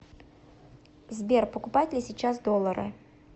сбер покупать ли сейчас доллары